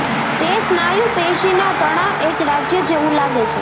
તે સ્નાયુ પેશી ના તણાવ એક રાજ્ય જેવું લાગે છે